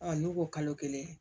ne ko kalo kelen